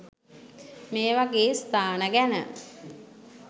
මේවගේ ස්ථාන ගැන